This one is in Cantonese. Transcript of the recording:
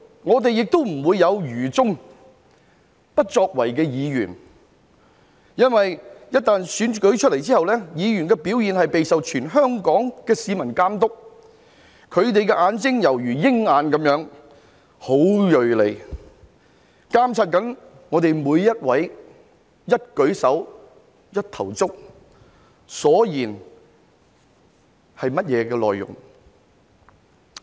我們亦不會有愚忠、不作為的議員，因為被選出後，議員的表現將備受全香港市民監督，他們的眼睛猶如鷹眼，十分銳利，監察我們每一位的一舉手一投足，以及發言的內容。